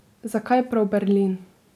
Zakaj prav Berlin?